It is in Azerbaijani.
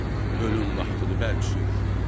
Ölüm vaxtıdır, bərk sür.